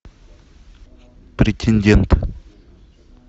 претендент